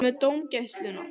Hvað með dómgæsluna?